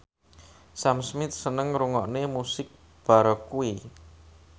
Sam Smith seneng ngrungokne musik baroque